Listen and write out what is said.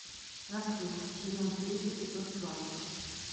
рассвет сезон три эпизод двадцать